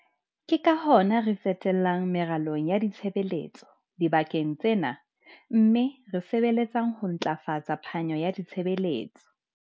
Ke ka hona re tsetelang meralong ya ditshebeletso dibakeng tsena mme re sebeletsang ho ntlafatsa phano ya ditshebeletso.